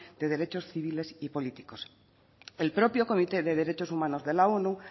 de derechos civiles y políticos el propio comité de derechos humano de la onu